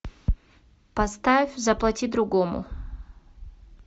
поставь заплати другому